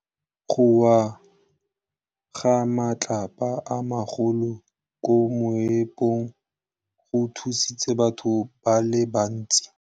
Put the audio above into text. Go wa ga matlapa a magolo ko moepong go tshositse batho ba le bantsi.